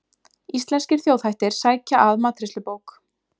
Íslenskir þjóðhættir sækja að matreiðslubók